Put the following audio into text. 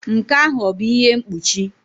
Nke ahụ ọ bụ ihe mkpuchi?